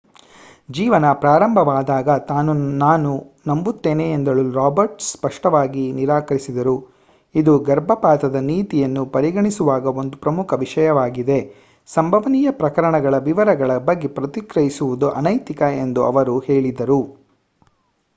ಜೀವನ ಪ್ರಾರಂಭವಾದಾಗ ತಾನು ನಂಬುತ್ತೇನೆ ಎಂದು ಹೇಳಲು ರಾಬರ್ಟ್ಸ್ ಸ್ಪಷ್ಟವಾಗಿ ನಿರಾಕರಿಸಿದರು ಇದು ಗರ್ಭಪಾತದ ನೀತಿಯನ್ನು ಪರಿಗಣಿಸುವಾಗ ಒಂದು ಪ್ರಮುಖ ವಿಷಯವಾಗಿದೆ ಸಂಭವನೀಯ ಪ್ರಕರಣಗಳ ವಿವರಗಳ ಬಗ್ಗೆ ಪ್ರತಿಕ್ರಿಯಿಸುವುದು ಅನೈತಿಕ ಎಂದು ಅವರು ಹೇಳಿದರು